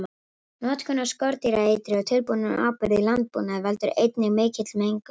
Notkun á skordýraeitri og tilbúnum áburði í landbúnaði veldur einnig mikilli mengun.